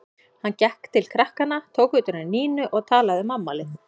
Hann gekk til krakkanna, tók utan um Nínu og talaði um afmælið.